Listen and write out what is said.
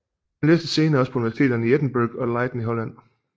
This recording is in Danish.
Han læste senere også på universiteterne i Edinburgh og Leyden i Holland